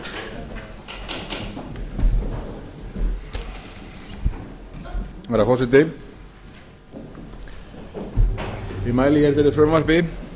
er ráð fyrir að umræðu ljúki siðar í dag eða í kvöld eftir atvikum herra forseti ég mæli hér fyrir frumvarpi